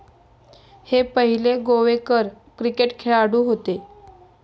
हे पहिले गोवेकर क्रिकेट खेळाडू होते